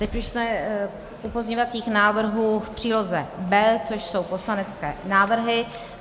Teď už jsme u pozměňovacích návrhů v příloze B, což jsou poslanecké návrhy.